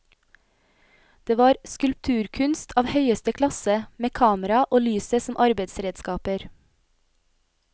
Det var skulpturkunst av høyeste klasse, med kamera og lyset som arbeidsredskaper.